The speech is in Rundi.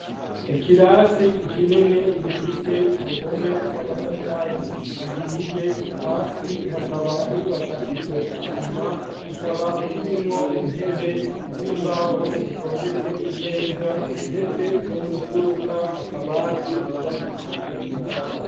Ikirasi kinini gifise uruhome rwamatafari ahiye hasi hakaba hubakishijwe isima, kikaba kirimwo intebe zimbaho zitondetse neza ndetse no mumfuruka akabati kubakishijwe imbaho.